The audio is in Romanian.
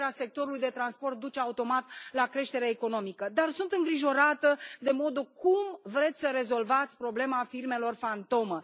Creșterea sectorului de transport duce automat la creștere economică, dar sunt îngrijorată de modul cum vreți să rezolvați problema firmelor fantomă.